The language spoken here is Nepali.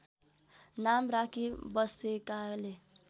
नाम राखी बसेकाले